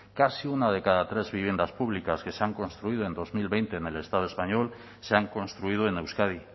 casi una de cada tres viviendas públicas que se han construido en dos mil veinte en el estado español se han construido en euskadi